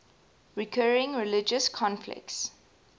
recurring religious conflicts